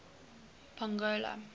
pongola